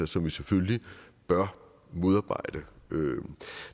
som vi selvfølgelig bør modarbejde